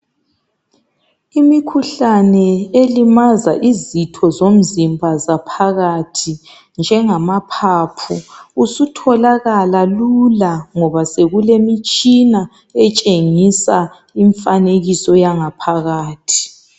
Imikhuhlane elimaza izitho zomzimba zaphakathi njengamaphaphu sitholakala lula ngoba sokulemitshina etshengisa imfanekiso yangaphakathi.